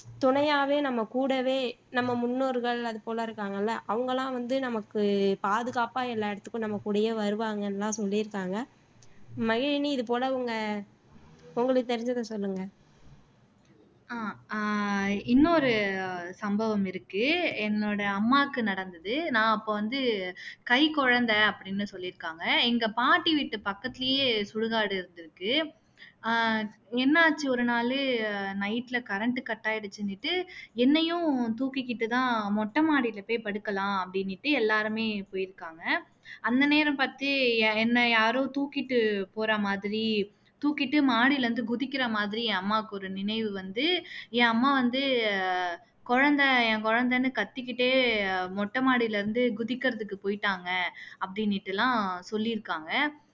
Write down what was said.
யாரோ தூக்கிட்டு போறா மாதிரி தூக்கிட்டு மாடியில இருந்து குதிக்கிற மாதிரி அம்மாக்கு நினைவு வந்து என் அம்மா வந்து குழந்தை என் குழந்தைன்னு கத்திக்கிட்டே மொட்ட மாடில இருந்து குதிக்கிறதுக்கு போயிட்டாங்க அப்படின்னுட்டு எல்லாம் சொல்லியிருக்காங்க